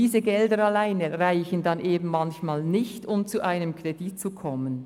Diese Gelder alleine reichen eben manchmal nicht aus, um einen Kredit zu erhalten.